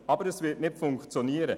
Das wird nicht funktionieren.